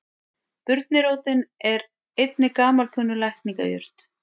Burnirótin er einnig gamalkunnug lækningajurt.